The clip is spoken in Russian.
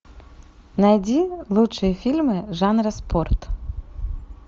найди лучшие фильмы жанра спорт